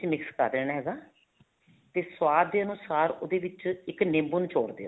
ਵਿੱਚ mix ਕਰ ਦੇਣਾ ਹੈਗਾ ਤੇ ਸੁਆਦ ਦੇ ਅਨੁਸਾਰ ਉਹਦੇ ਵਿੱਚ ਇੱਕ ਨਿੰਬੂ ਨਿਚੋੜ ਦਿਓ